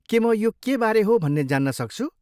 के म यो केबारे हो भन्ने जान्न सक्छु?